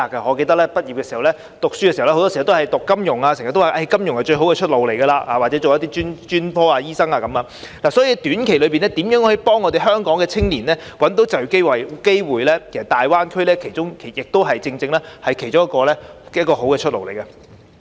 我記得我還在唸書時，很多時學生也是修讀金融科目，人們經常說金融是最好的出路，又或是攻讀其他專科或醫生等，所以在短期內如何能協助香港青年找到就業機會，大灣區是其中一個好的出路。